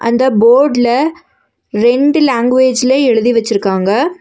அந்த ஃபோர்டுல ரெண்டு லாங்குவேஜ்ல எழுதி வெச்சிருக்காங்க.